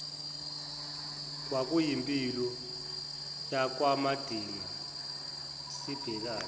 kwakuyimpilo yakwamagida sibhekane